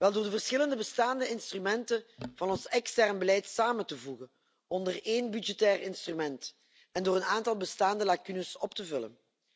Door de verschillende bestaande instrumenten van ons extern beleid samen te voegen onder één budgettair instrument en door een aantal bestaande lacunes op te vullen.